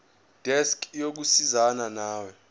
desk yokusizana nawe